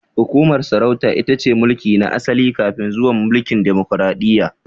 Hukumar sarauta itace mulki na asali kafin zuwan mulkin demokaradiyya